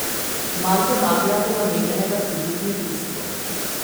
Manj denarja bo namenjenega tudi kmetijstvu.